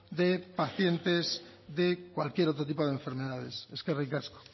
de pacientes de cualquier otro tipo de enfermedades eskerrik asko